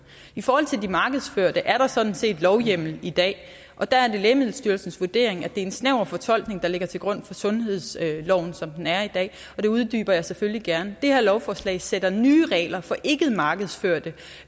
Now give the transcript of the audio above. i forhold til de markedsførte er der sådan set lovhjemmel i dag og der er det lægemiddelstyrelsens vurdering at det er en snæver fortolkning der ligger til grund for sundhedsloven som den er i dag og det uddyber jeg selvfølgelig gerne det her lovforslag sætter nye regler for ikkemarkedsførte